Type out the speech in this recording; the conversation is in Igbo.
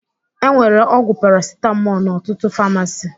E nwere ọgwụ parasitamọl n'ọtụtụ famasi